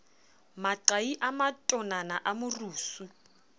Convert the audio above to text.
maqai a matonana a morusu